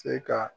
Se ka